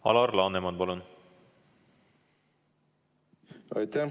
Alar Laneman, palun!